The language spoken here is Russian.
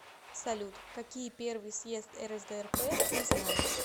салют какие первый съезд рсдрп ты знаешь